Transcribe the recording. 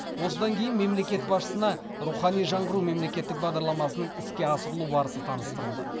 осыдан кейін мемлекет басшысына рухани жаңғыру мемлекеттік бағдарламасының іске асырылу барысы таныстырылды